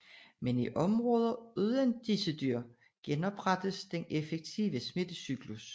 Men i områder uden disse dyr genoprettes den effektive smittecyklus